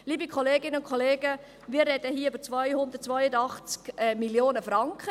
Liebe Kolleginnen und Kollegen, wir sprechen hier über 282 Mio. Franken.